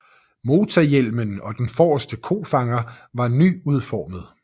Motorhjelmen og den forreste kofanger var nyudformet